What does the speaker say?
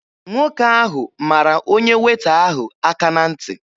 Nwoke ahụ mara onye Weeta ahụ aka na ntị.